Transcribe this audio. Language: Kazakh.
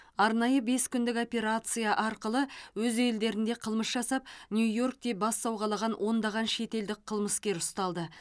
арнайы бес күндік операция арқылы өз елдерінде қылмыс жасап нью йоркте бас сауғалаған ондаған шетелдік қылмыскер ұсталды